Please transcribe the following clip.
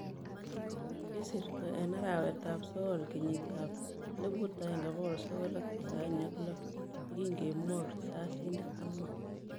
Kisirto en arawet ab sokol kenyit ab 1996 yekinge mwok risasinik ang'wan